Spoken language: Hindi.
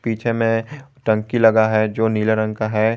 पीछे में टंकी लगा है जो नीले रंग का है।